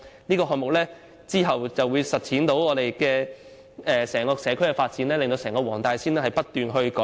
這個項目之後將實踐整個社區的發展，使黃大仙的整體居住環境不斷得到改善。